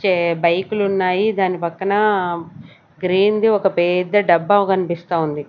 కే బైకులున్నాయి దాని పక్కన గ్రీన్ ది ఒక పేద్ద డబ్బా కనిపిస్తా ఉంది.